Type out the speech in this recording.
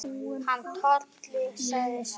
Hann Tolli, sagði Svenni.